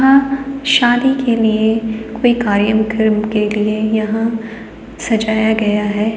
हां शादी के लिए कोई कार्यम्क्रम के लिए यहाँं सजाया गया है।